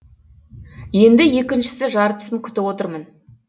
енді екіншісі жартысын күтіп отырмын